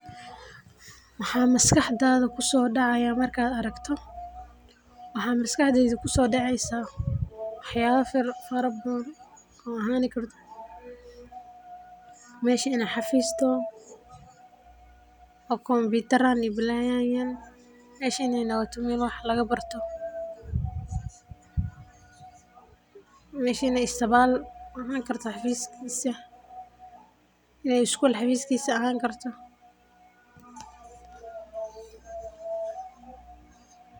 Maxaa maskaxda ku soo dhacaya markaad aragto, waxaa maskaxdeyda ku so daceysa waxyala fara badan, oo ahani karto mesha in ee xafis toho, oo computer rahan iyo balayadan yaal, meshan in wax laga baarto, mesha in ee ahan karto isbital xafiskisa, in ee isgul xafiskisa ahan karto.